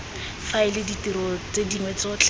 faela ditiro tse dingwe tsotlhe